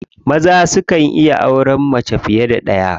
Maza sukan iya auren mace fiye da ɗaya.